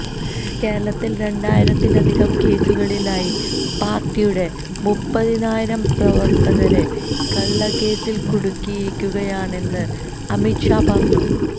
കേരളത്തില് രണ്ടായിരത്തിലധികം കേസുകളിലായി പാര്ട്ടിയുടെ മുപ്പതിനായിരം പ്രവര്ത്തകരെ കള്ളക്കേസില് കുടുക്കിയിരിക്കുകയാണെന്ന് അമിത് ഷാ പറഞ്ഞു